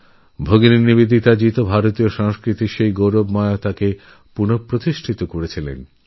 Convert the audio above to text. ভগিনী নিবেদিতা ভারতীয় সংস্কৃতির গৌরবপুনঃস্থাপিত করেন